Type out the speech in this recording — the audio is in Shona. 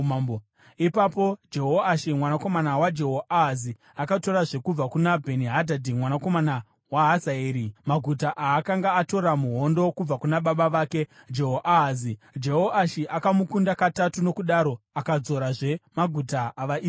Ipapo Jehoashi mwanakomana waJehoahazi akatorazve kubva kuna Bheni-Hadhadhi mwanakomana waHazaeri maguta aakanga atora muhondo kubva kuna baba vake Jehoahazi. Jehoashi akamukunda katatu, nokudaro akadzorazve maguta avaIsraeri.